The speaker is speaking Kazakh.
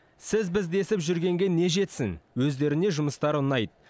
сіз біз десіп жүргенге не жетсін өздеріне жұмыстары ұнайды